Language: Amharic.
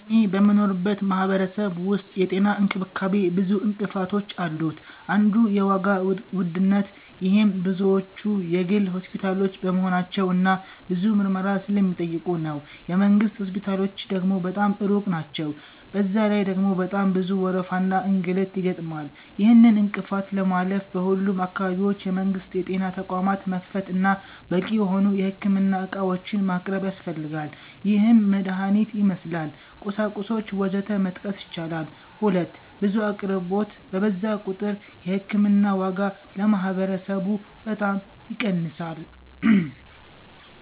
እኔ በምኖርበት ማህበረሰብ ዉስጥ የጤና እንክብካቤ ብዙ እንቅፋቶች አሉት አንዱ የዋጋ ዉድነት -ይሄም ብዙዎቹ የግል ሆስፒታሎች በመሆናቸው እና ብዙ ምርመራ ስለሚጠይቁ ነው። የ መንግስት ሆስፒታሎች ደግሞ በጣም ሩቅ ናቸዉ፤ በዛ ላይ ደግሞ በጣም ብዙ ወረፋና እንግልት ይገጥማል። ይህንን እንቅፋት ለማለፍ በሁሉም አካባቢዎች የመንግስት የጤና ተቋማት መክፈት እና በቂ የሆኑ የህክምና ዕቃዎችን ማቅረብ ያስፈልጋል -ይህም መድሀኒትን ይመስል፣ ቁሳቁሶች ወዘተ መጥቀስ ይቻላል። 2. ብዙ አቅርቦት በበዛ ቁጥር የ ህክምና ዋጋ ለማህበረሰቡ በጣም ይቀንሳል።